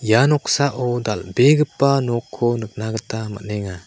ia noksao dal·begipa nokko nikna gita man·enga.